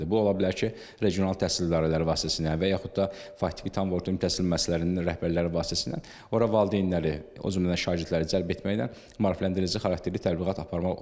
Bu ola bilər ki, regional təhsil idarələri vasitəsilə və yaxud da faktiki tam orta təhsil müəssisələrinin rəhbərləri vasitəsilə ora valideynləri, o cümlədən şagirdləri cəlb etməklə maarifləndirici xarakterli təbliğat aparmaq olar.